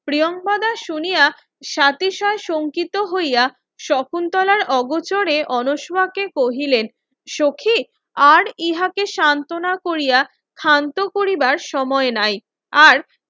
প্রিঙ্কাদা শুনিয়া সাতিশয় সংকিত হইয়া শকুন্তলার অগোচরে অলস বাক্যে কহিলেন সখি আর ইহাকে সান্তনা কোরিয়া শান্ত করিবাস সময় নাই আর